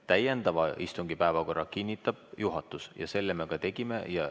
Täiendava istungi päevakorra kinnitab juhatus ja selle me ka tegime.